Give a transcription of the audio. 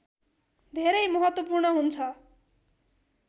धेरै महत्त्वपूर्ण हुन्छ